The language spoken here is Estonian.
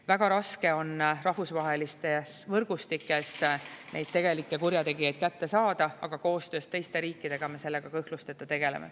Väga raske on rahvusvahelistes võrgustikes neid tegelikke kurjategijaid kätte saada, aga koostöös teiste riikidega me sellega kõhklusteta tegeleme.